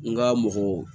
N ka mɔgɔ